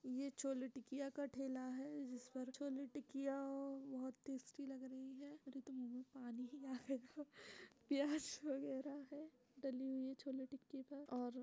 ये छोले टिकिया का ठेला है। जिस पर छोले टिकिया आ बहोत टेस्टी लग रही है। अरे तो मुंह में पानी ही आ गया। प्यास वगैरह है डाली हुई है छोले टिक्की पर और -